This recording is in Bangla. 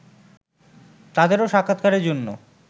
তাদেরও সাক্ষাৎকারের জন্